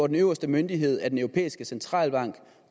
den øverste myndighed er den europæiske centralbank